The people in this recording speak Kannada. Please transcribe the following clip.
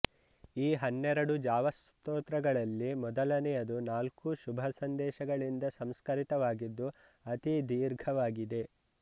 ಈ ಹನ್ನೆರಡು ಜಾವಸ್ತೋತ್ರಗಳಲ್ಲಿ ಮೊದಲನೆಯದು ನಾಲ್ಕೂ ಶುಭಸಂದೇಶಗಳಿಂದ ಸಂಸ್ಕರಿತವಾಗಿದ್ದು ಅತಿ ದೀರ್ಘವಾಗಿದೆ